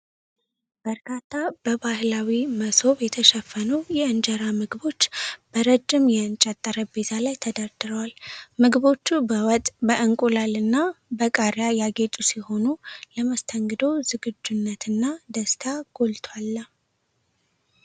በርካታ በባህላዊ መሶብ የተሸፈኑ የእንጀራ ምግቦች በረጅም የእንጨት ጠረጴዛ ላይ ተደርድረዋል። ምግቦቹ በወጥ፣ በእንቁላልና በቃሪያ ያጌጡ ሲሆኑ፣ ለመስተንግዶ ዝግጁነትና ደስታ ጎልቶ አለ።